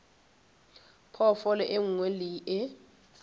phoofolo e nngwe le e